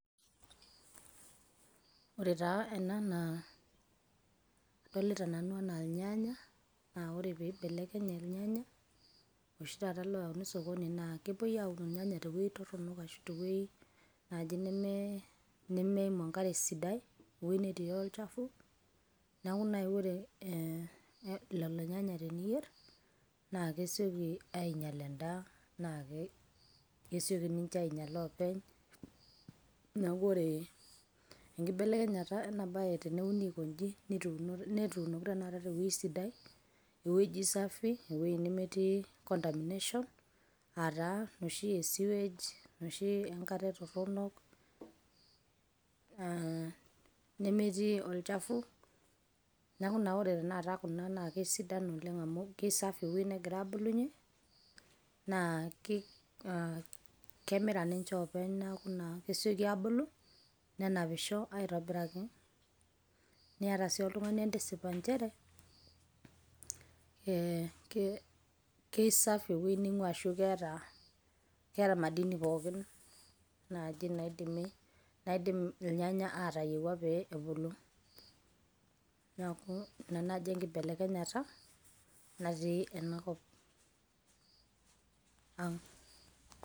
Ore taa ena naa, adolita nanu enaa irnyanya, na ore peimbelekeny irnyanya oshi taata loyauni osokoni na kepoi aun irnyanya tewoi torronok ashu tewoi nemetii enkare sidai, ewei netii olchafu. Neeku nai ore lelo nyanya teniyier, na kesioki ainyal endaa, na ke kesioki ninche ainyala openy. Neeku ore enkibelekenyata ena bae teneuni aikoji, netuunoki tanakata tewueji sidai, ewueji safi, ewueji nemetii contamination ,ah taa noshi e sewage ,enkare torronok. Na nemetii olchafu, neeku ore tanakata kuna na kesidanu oleng' amu kisafi ewueji negira abulunye, naa kemira ninche openy, neeku ina peseku abulu. Nenapisho aitobiraki, niata si oltung'ani entisip njere, eh kesafi ewei ning'uaa ashu keeta madini naji naidimi naidim irnyanya atayiewua pee ebulu. Neeku ina naji enkibelekenyata, natii enakop ang'.